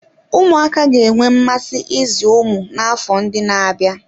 Ụmụaka ga-enwe mmasị ịzụ ụmụ n'afọ ndị na-abịa.